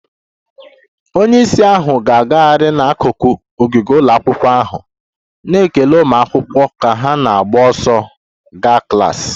Onye isi ahụ na-agagharị n'akụkụ ogige ụlọ akwụkwọ ahụ, na-ekele ụmụ akwụkwọ ka ha na-agba ọsọ gaa klas